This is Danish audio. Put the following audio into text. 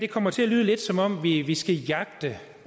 kommer til at lyde lidt som om vi vi skal jagte